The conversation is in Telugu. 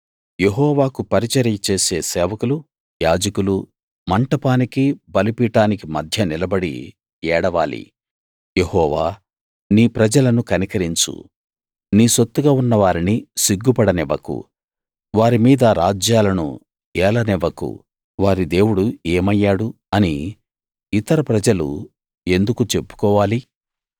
యెహోవాకు పరిచర్యచేసే సేవకులు యాజకులు మంటపానికీ బలిపీఠానికి మధ్య నిలబడి ఏడవాలి యెహోవా నీ ప్రజలను కనికరించు నీ సొత్తుగా ఉన్న వారిని సిగ్గుపడనివ్వకు వారి మీద రాజ్యాలను ఏలనివ్వకు వారి దేవుడు ఏమయ్యాడు అని ఇతర ప్రజలు ఎందుకు చెప్పుకోవాలి